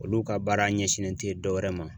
Olu ka baara ɲɛsinnen tɛ dɔ wɛrɛ ma